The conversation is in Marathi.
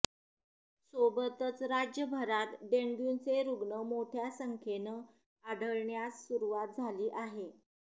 सोबतच राज्यभरात डेंग्यूचे रुग्ण मोठ्या संख्येनं आढऴण्यास सुरुवात झाली आहे